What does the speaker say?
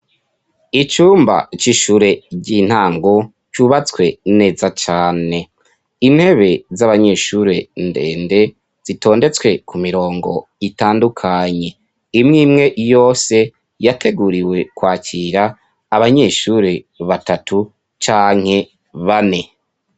Icumba c'ishure ry'intango cyubatswe neza cane, intebe z'abanyeshuri ndende zitondetswe ku mirongo itandukanye. Imwimwe yose yateguriwe kwakira abanyeshuri batatu canke bane.